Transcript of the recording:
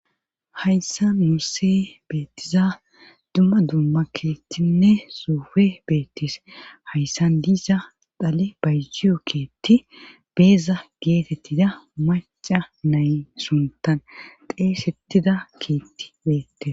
hayssa nuuse beettiza dumma dumma keettinne sofe beettis hayssan diza dale bayjiyo keetti beeza geetettida maca nay suntan xeesettida keetti beettes